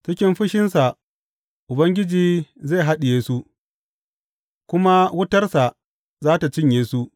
Cikin fushinsa Ubangiji zai haɗiye su, kuma wutarsa za tă cinye su.